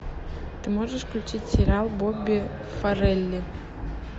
ты можешь включить сериал бобби фаррелли